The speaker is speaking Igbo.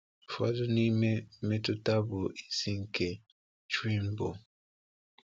Ụfọdụ n’ime mmetụta bụ isi nke Tren bụ: